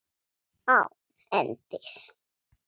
Án endis.